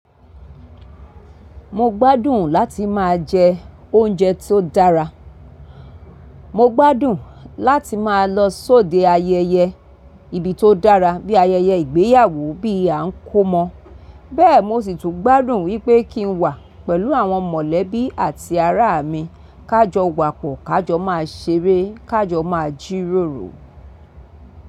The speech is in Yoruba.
Mo gbádùn láti máa jẹ oúnjẹ tó dára. Mo gbádùn láti máa lọ sóde ayẹyẹ ibi tó dára bíi ayẹyẹ ìgbéyàwó, bí a ń kọ́mọ bẹ́ẹ̀ mo sì tún gbádùn wípé kín wà pẹ̀lú àwọn mọ̀lẹ́bí àti ará mi. Ká jọ wa pọ̀, ká jọ máa ṣeré, ká jọ máa jíròrò.